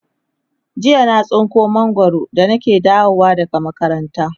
jiya na tsinko mangwaro da nake dawowa makaranta